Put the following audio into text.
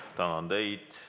Tänan teid!